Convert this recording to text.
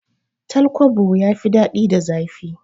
Tal kwabo ya fi dadi da zafi